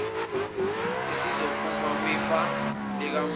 esizophuma kwifa likamufa